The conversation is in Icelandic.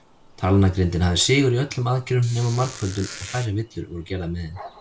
Talnagrindin hafði sigur í öllum aðgerðum nema margföldun, og færri villur voru gerðar með henni.